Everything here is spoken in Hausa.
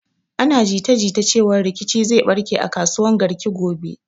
Ana jita jita cewan rikici zai barke a kasuwan Garki gobe.